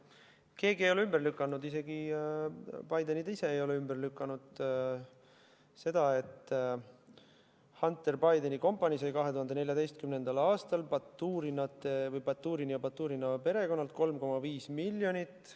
Keegi ei ole ümber lükanud, isegi Bidenid ise ei ole ümber lükanud seda, et Hunter Bideni kompanii sai 2014. aastal Baturinite või Baturina perekonnalt 3,5 miljonit.